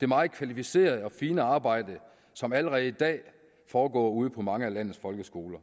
det meget kvalificerede og fine arbejde som allerede i dag foregår ude på mange af landets folkeskoler